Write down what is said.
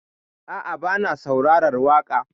A'a, bana saurarar waƙa.